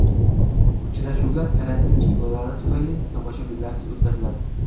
Uchrashuvlar karantin cheklovlari tufayli tomoshabinlarsiz o‘tkaziladi.